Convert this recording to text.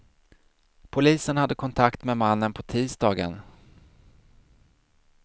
Polisen hade kontakt med mannen på tisdagen.